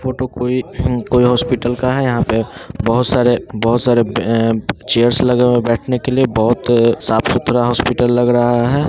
Photo कोई कोई hospital का है यहाँ पे बहोत सारे बहोत सारे अ चेयर्स लगे हुए हैं बैठने के लिए बहोत अ साफ-सुथरा हॉस्पिटल लग रहा है।